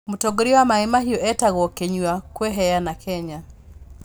Mũtongoria wa Maĩ-Maĩ etagwo Kĩnyũa kwĩveana Kenya